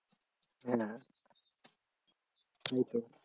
হ্যাঁ ওইটাই